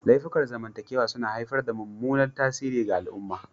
Laifukan zamantakewa suna haifar da mummunan tasiri ga al'umma.